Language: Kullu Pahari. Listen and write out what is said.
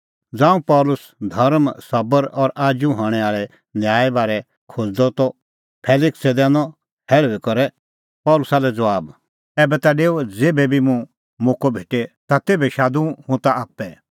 ज़ांऊं पल़सी धर्म सबर और आजू हणैं आल़ै न्याय बारै खोज़अ ता फेलिक्से दैनअ हैल़ुई करै पल़सी लै ज़बाब एभै ता डेऊ ज़ेभै भी मुंह मोक्कअ भेटे ता तेभै शादूं हुंह ताह आप्पै